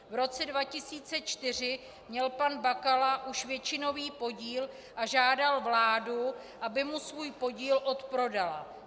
V roce 2004 měl pan Bakala už většinový podíl a žádal vládu, aby mu svůj podíl odprodala.